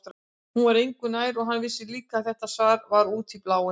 Hún var engu nær og hann vissi líka að þetta svar var út í bláinn.